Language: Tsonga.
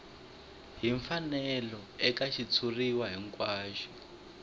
hi mfanelo eka xitshuriwa hinkwaxo